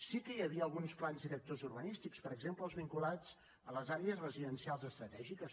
sí que hi havia alguns plans directors urbanístics per exemple els vinculats a les àrees residencials estratègiques